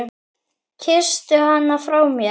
Kysstu hana frá mér.